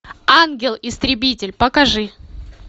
ангел истребитель покажи